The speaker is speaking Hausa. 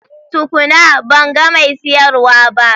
Tukuna! Ban ga mai siyarwa ba.